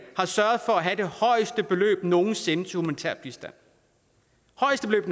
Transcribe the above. har sørget for at have det højeste beløb nogen sinde til humanitær bistand altså det